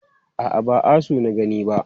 A'a, ba asu na gani ba.